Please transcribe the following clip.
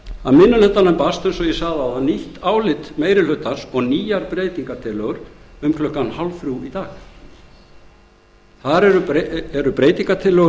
að minni hlutanum barst eins og ég sagði áðan nýtt álit meiri hlutans og nýjar breytingartillögur um klukkan hálfþrjú í dag þar er í breytingartillögum